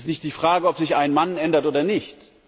Es ist nicht die Frage, ob sich ein Mann ändert oder nicht.